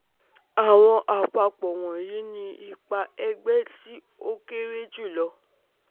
Awọn apapo wọnyi ni ipa ẹgbẹ ti o kere julọ